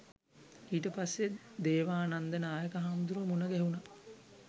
ඊට පස්සෙ දේවානන්ද නායක හාමුදුරුවො මුණ ගැහුණා